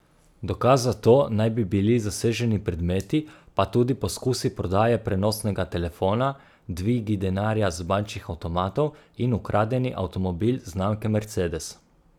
Dokaz za to naj bi bili zaseženi predmeti pa tudi poskusi prodaje prenosnega telefona, dvigi denarja z bančnih avtomatov in ukradeni avtomobil znamke Mercedes.